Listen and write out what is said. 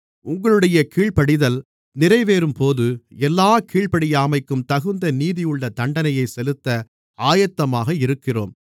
உங்களுடைய கீழ்ப்படிதல் நிறைவேறும்போது எல்லாக் கீழ்ப்படியாமைக்கும் தகுந்த நீதியுள்ள தண்டனையைச் செலுத்த ஆயத்தமாக இருக்கிறோம்